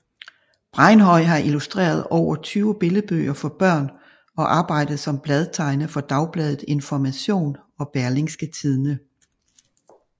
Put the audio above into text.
Bregnhøi har illustreret over 20 billedbøger for børn og arbejdet som bladtegner ved Dagbladet Information og Berlingske Tidende